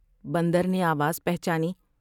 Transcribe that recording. بندر نے آواز پہچانی ۔